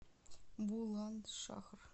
буландшахр